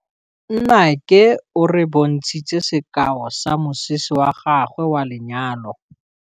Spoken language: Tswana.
Nnake o re bontshitse sekaô sa mosese wa gagwe wa lenyalo.